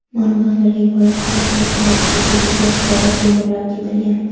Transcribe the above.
Ma’lumotlarga ko‘ra, politsiyachilarga tegishli qurollar o‘g‘irlab ketilgan.